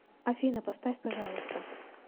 афина поставь пожалуйста